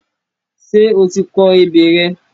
Ṣé o ti kọ ebè rẹ?